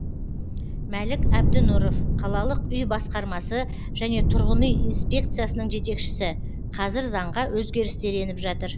мәлік әбдінұров қалалық үй басқармасы және тұрғын үй инспекциясының жетекшісі қазір заңға өзгерістер еніп жатыр